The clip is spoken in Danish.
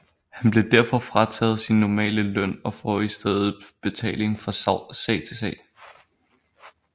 Han bliver derfor frataget sin normale løn og får i stedet betaling fra sag til sag